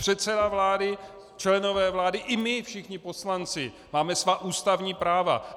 Předseda vlády, členové vlády i my všichni poslanci máme svá ústavní práva.